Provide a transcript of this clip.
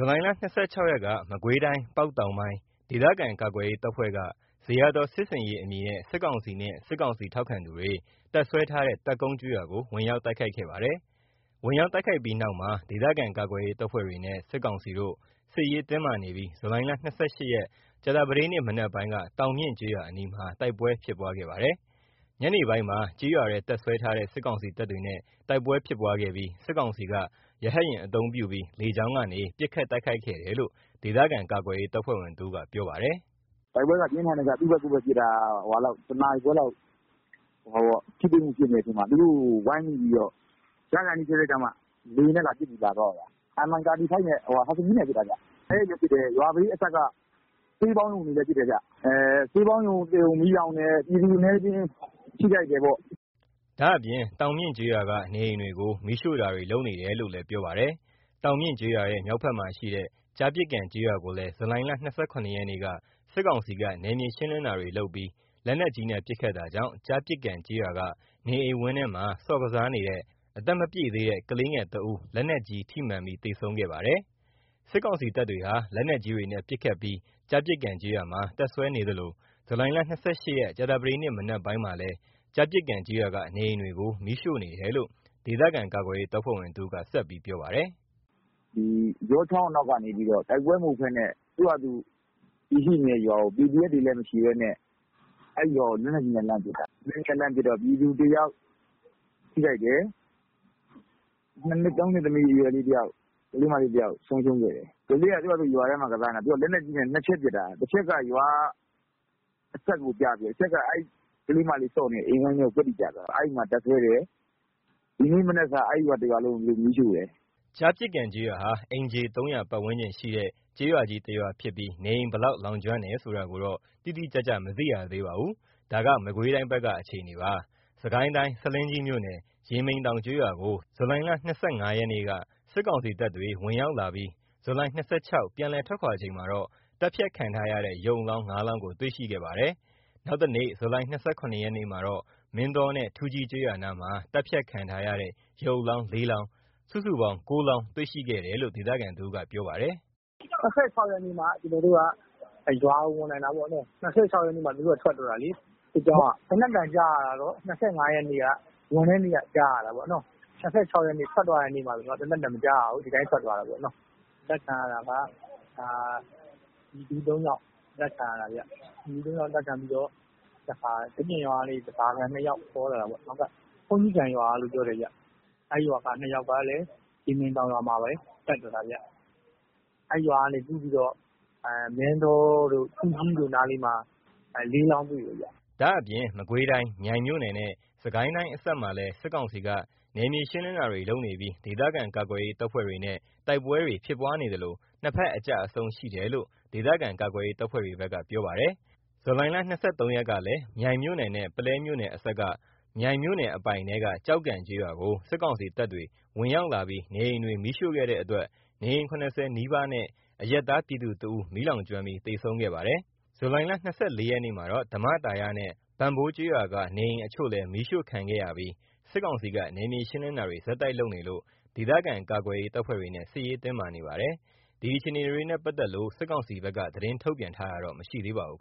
ူလိုင် ၂၆ ရက်က မကွေးတိုင်း ပေါက်တောင်ပိုင်း ဒေသခံကာကွယ်ရေးတပ်ဖွဲ့က ဇေယျာသော် စစ်ဆင်ရေး အမည်နဲ့ စစ်ကောင်စီနဲ့ စစ်ကောင်စီ ထောက်ခံသူတွေ တပ်စွဲထားတဲ့ တပ်ကုန်းကျေးရွာကို ဝင်ရောက်တိုက်ခိုက်ခဲ့ပါတယ်။ ဝင်ရောက်တိုက်ခိုက်ပြီး နောက်ပိုင်းမှာ ဒေသခံကာကွယ်ရေး တပ်ဖွဲ့ တွေနဲ့ စစ်ကောင်စီတို့ စစ်ရေးတင်းမာနေပြီး ဇူလိုင် ၂၈ ကြာသပတေးနေ့ မနက်ပိုင်းက တောင်မြင့်ကျေးရွာအနီးမှာ တိုက်ပွဲဖြစ်ပွားခဲ့ပါတယ်။ ညနေပိုင်းမှာ ကျေးရွာထဲ တပ်စွဲထားတဲ့ စစ်ကောင်စီတပ်တွေနဲ့ တိုက်ပွဲဖြစ်ပွားခဲ့ပြီး စစ်ကောင်စီက ရဟတ်ယာဉ်အသုံးပြုပြီး လေကြောင်းကနေ ပစ်ခတ်တိုက်ခိုက်ခဲ့တယ်လို့ ဒေသခံကာကွယ်ရေး တပ်ဖွဲ့ဝင်တဦးက ပြောပါတယ်။ “တိုက်ပွဲကပြင်းထန်တယ် သူ့ဘက်ကိုယ့်ဘက်ပစ်တာ။ ၁ နာရီခွဲလောက် ထိတွေ့မှု ဖြစ်နေတဲ့အချိန်မှာ သူတို့ကို ဝိုင်းမိပြီးတော့ ရကာနီးစဲစဲမှ လေယာဉ်နဲ့ လာပစ်သွားတာခင်ဗျ။ Mi 35 ဟတ်စကီးနဲ့ပစ်တာဗျ။ ရွာထဲတွေကိုလည်း ပစ်တယ်။ ရွာလေးအစပ်က ဆေးပေါင်းရုံတွေကိုလည်း ပစ်တယ်။ ဆေးပေါင်းရုံ တရုံ မီးလောင်တယ်။ ပြည်သူအနည်းအကျဉ်း ထိခိုက်တယ်ပေါ့။” ဒါ့အပြင် တောင်မြင့်ကျေးရွာက နေအိမ်တွေကို မီးရှို့တာတွေ လုပ်နေတယ်လို့လည်း ပြောပါတယ်။ တောင်မြင့်ကျေးရွာရဲ့ မြောက်ဖက်မှာရှိတဲ့ ကျားပစ်ကန်ကျေးရွာကိုလည်း ဇူလိုင် ၂၇ ရက်က စစ်ကောင်စီက နယ်မြေရှင်းလင်းတာတွေလုပ်ပြီး လက်နက်ကြီးနဲ့ ပစ်ခတ်တာကြောင့် ကျားပစ်ကန်ကျေးရွာက နေအိမ်ဝင်းထဲမှာ ဆော့ကစားနေတဲ့ အသက်မပြည့်သေးတဲ့ ကလေးငယ် ၁ ဦး လက်နက်ကြီး ထိမှန်ပြီး သေဆုံးခဲ့ပါတယ်။ စစ်ကောင်စီတပ်တွေဟာ လက်နက်ကြီးတွေနဲ့ ပစ်ခတ်ပြီး ကျားပစ်ကန်ကျေးရွာမှာ တပ်စွဲနေသလို ဇူလိုင် ၂၈ ရက် ကြာသပတေးနေ့ မနက်ပိုင်းမှာလည်း ကျားပစ်ကန်ကျေးရွာက နေအိမ်တွေကိုမီးရှို့နေတယ်လို့ ဒေသခံကာကွယ်ရေးတပ်ဖွဲ့ဝင်တဦးက ဆက်ပြောပါတယ်။ ပြောပါတယ်။ “ယောချောင်း အနောက်ကနေ တိုက်ပွဲမဟုတ်ဘဲနဲ့ သူ့ဟာသူ တည်ရှိနေတဲ့ရွာကို PDF တွေလည်း မရှိဘဲနဲ့ အဲ့ရွာကို လက်နက်ကြီးနဲ့လှမ်းပစ်တာ။ လက်နက်ကြီးနဲ့ လှမ်းပစ်တော့ ပြည်သူတယောက်ထိခိုက်တယ်။၂ နှစ် ၃ နှစ်အရွယ် ကလေးမလေးတယောက်ဆုံးရှုံးတယ်။ ကလေးက သူ့ဘာသာသူ ရွာထဲ ဆော့ကစားနေတာ သူက လက်နက်ကြီးနဲ့ ၂ ချက်ပစ်တာ။ တချက်က ရွာအစပ်ကို ကျပြီးတော့ တချက်က အဲ့ကလေးမလေး ဆော့နေတဲ့ အိမ်ဝိုင်းထဲကို ကွက်တိကျသွားတာ။ အဲ့မှာတပ်စွဲတယ်။ ဒီကနေ့မနက်က အဲ့ရွာ တရွာလုံးကို မီးရှို့တယ်။” ကျားပစ်ကန်ကျေးရွာဟာ အိမ်ခြေ ၃၀၀ ပတ်ဝန်းကျင်ရှိတဲ့ ကျေးရွာကြီးတရွာဖြစ်ပြီး နေအိမ်ဘယ်လောက် လောင်ကျွမ်းတယ်ဆိုတာကိုတော့ တိတိကျကျမသိရသေးပါဘူး။ ဒါက မကွေးတိုင်းက အခြေအနေပါ။ စစ်ကိုင်းတိုင်း ဆားလင်းကြီးမြို့နယ် ရေမိန်တောင်ကျေးရွာကို ဇူလိုင် ၂၅ ရက်က စစ်ကောင်စီတပ်တွေ ဝင်ရောက်လာပြီး ဇူလိုင် ၂၆ ပြန်လည်ထွက်ခွါသွားချိန်မှာ သတ်ဖြတ်ခံထားရတဲ့ ရုပ်အလောင်း ၅ လောင်းကို တွေ့ရှိခဲ့ပါတယ်။ နောက်တနေ့ ဇူလိုင် ၂၇ ရက်မှာ မင်းတောနဲ့ ထူးကြီးကျေးရွာနားမှာ သတ်ဖြတ်ခံထားရတဲ့ ရုပ်အလောင်း ၄ လောင်း စုစုပေါင်း ၉ လောင်း တွေ့ရှိတယ်လို့ ဒေသခံတဦးက ပြောပါတယ်။ “၂၆ ရက်နေ့မှ ကျွန်တော်တို့က ရွာကိုဝင်နိုင်တာပေါ့။ ၂၆ ရက်နေ့မှ သူတို့က ထွက်သွားတာလေ။ စစ်ကြောင်းက သေနတ်သံကြားရတာတော့ ၂၅ ရက် ဝင်တဲ့နေ့က ကြားရတာပေါ့။ ၂၆ ရက်နေ့ ထွက်သွားတဲ့နေ့မှာ သေနတ်သံမကြားရဘူး။ ဒီအတိုင်းထွက်သွားတာပေါ့။ အသတ်ခံရတာက ပြည်သူ ၃ ယောက် အသတ်ခံရတာဗျ။ ပြည်သူ ၃ ယောက် အသတ်ခံရပြီးတော့ ဒီအပြင်ရွာကနေ ဓားစာခံ ၂ ယောက်ခေါ်လာတာပေါ့။ ဘုန်းကြီးကံရွာကလို့ပြောတယ်။ အဲ့ရွာက ၂ ယောက်ကလည်း ရေမိန်တောင်ရွာမှာပဲ သတ်သွားတာဗျ။ အဲ့ရွာကနေ ကူးပြီးတော့ မင်းတောတို့ ထူးကြီးတို့ရွာနားလေးမှာ ၄ လောင်းတွေ့တယ်။” ဒါ့အပြင် မကွေးတိုင်း မြိုင်မြို့နယ်နဲ့ စစ်ကိုင်းတိုင်းအစပ်မှာလည်း စစ်ကောင်စီက နယ်မြေရှင်းလင်းတာတွေ လုပ်နေပြီး ဒေသခံကာကွယ်ရေး တပ်ဖွဲ့တွေနဲ့ တိုက်ပွဲတွေဖြစ်ပွားနေသလို ၂ ဖက်အကျအဆုံးရှိတယ်လို့ ဒေသခံကာကွယ်ရေးတပ်ဖွဲ့တွေဘက်က ပြောပါတယ်။ ဇူလိုင် ၂၃ ရက်ကလည်း မြိုင်မြို့နယ်နဲ့ ပုလဲမြို့နယ်အစပ်က မြိုင်မြို့နယ်အပိုင်ထဲက ကျောက်ကန်ကျေးရွာကို စစ်ကောင်စီတပ်တွေ ဝင်ရောက်လာပြီး နေအိမ်တွေကို မီးရှို့ ခဲ့တဲ့ အတွက် နေအိမ် ၇၀ နီးပါးနဲ့ အရပ်သား ပြည်သူ ၁ ဦး မီးလောင်ကျွမ်းပြီး သေဆုံးခဲ့ပါတယ်။ ဇူလိုင် ၂၄ ရက်မှာတော့ ဓမ္မသာရနဲ့ ဘန့်ဘိုးကျေးရွာက နေအိမ်အချို့လည်း မီးရှို့ခံံခဲ့ရပြီး စစ်ကောင်စီက နယ်မြေရှင်းလင်းတာတွေ ဆက်တိုက်လုပ်နေလို့ ဒေသခံ ကာကွယ်ရေးတပ်ဖွဲ့တွေနဲ့ စစ်ရေးတင်းမာနေပါတယ်။ ဒီအခြေအနေတွေနဲ့ ပတ်သက်လို့ စစ်ကောင်စီဘက်က သတင်းထုတ်ပြန်တာ မရှိသေးပါဘူး